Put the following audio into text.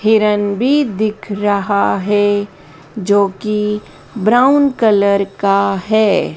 हिरन भी दिख रहा है जो कि ब्राउन कलर का है।